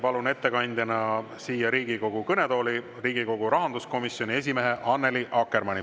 Palun ettekandjana siia Riigikogu kõnetooli Riigikogu rahanduskomisjoni esimehe Annely Akkermanni.